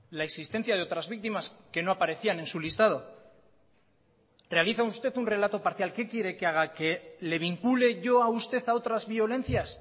la existencia de otras víctimas que no aparecían en su listado realiza usted un relato parcial qué quiere quehaga que le vincule yo a usted a otras violencias